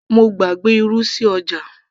mo gbàgbé irú sí ọjà